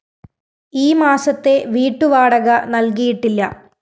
ഈ മാസത്തെ വീട്ടുവാടക നല്‍കിയിട്ടില്ല